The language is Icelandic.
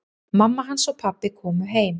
Mamma hans og pabbi komu heim.